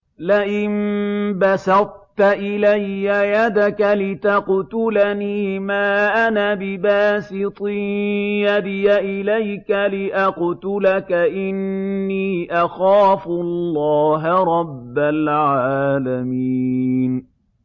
لَئِن بَسَطتَ إِلَيَّ يَدَكَ لِتَقْتُلَنِي مَا أَنَا بِبَاسِطٍ يَدِيَ إِلَيْكَ لِأَقْتُلَكَ ۖ إِنِّي أَخَافُ اللَّهَ رَبَّ الْعَالَمِينَ